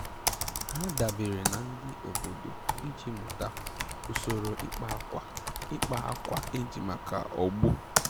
Ha dabeere na ndị obodo iji mụta usoro ịkpa akwa ịkpa akwa eji maka ọgbọ